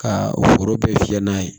Ka foro bɛɛ fiyɛ n'a ye